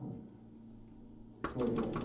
Não estou lembrado agora.